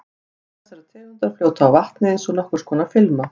Egg þessarar tegundar fljóta á vatni eins og nokkurs konar filma.